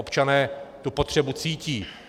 Občané tu potřebu cítí.